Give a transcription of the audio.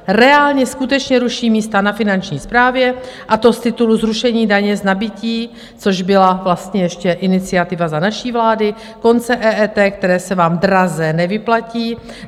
Reálně skutečně ruší místa na Finanční správě, a to z titulu zrušení daně z nabytí, což byla vlastně ještě iniciativa za naší vlády, konce EET, které se vám draze nevyplatí.